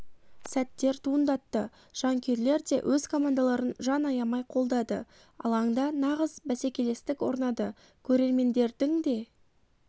сәттер туындатты жанкүйерлер де өз командаларын жан аямай қолдады алаңда нағыз бәсекелестік орнады көрермендердің де